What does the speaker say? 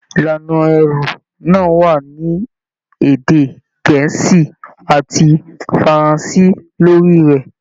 Ìlànà ẹrú náà wà ní èdè gẹ̀ẹ́sì àti faranse lórí rẹ.